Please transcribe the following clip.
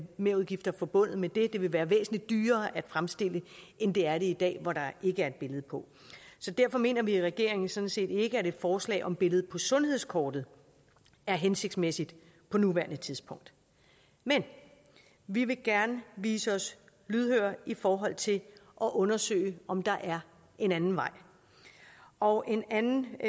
merudgifter forbundet med det det vil være væsentlig dyrere at fremstille end det er i dag hvor der ikke er et billede på så derfor mener vi i regeringen sådan set ikke at et forslag om et billede på sundhedskortet er hensigtsmæssigt på nuværende tidspunkt men vi vil gerne vise os lydhøre i forhold til at undersøge om der er en anden vej og en anden